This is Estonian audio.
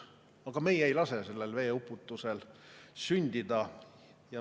Aga meie ei lase sellel veeuputusel sündida.